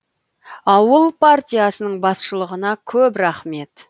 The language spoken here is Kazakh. ауыл партиясының басшылығына көп рахмет